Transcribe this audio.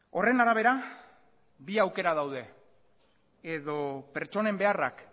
horren arabera bi aukera daude edo pertsonen beharrak